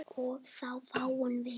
og þá fáum við